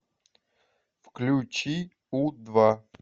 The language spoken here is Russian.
включи у два